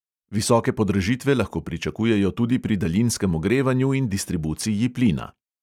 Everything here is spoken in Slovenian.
Visoke podražitve lahko pričakujejo tudi pri daljinskem ogrevanju in distribuciji plina.